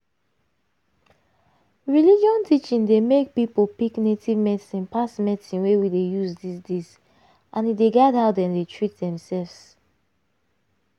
religion teaching dey make people pick native medicine pass medicine wey we dey use this days and e dey guide how dem dey treat themselves